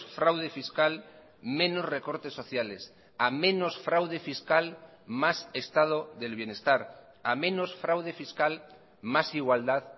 fraude fiscal menos recortes sociales a menos fraude fiscal más estado del bienestar a menos fraude fiscal más igualdad